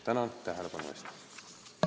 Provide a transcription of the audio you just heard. Tänan tähelepanu eest!